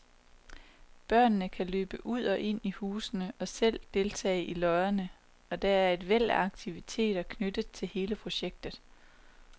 Børnene kan løbe ud og ind i husene og selv deltage i løjerne, og der er et væld af aktiviteter knyttet til hele projektet.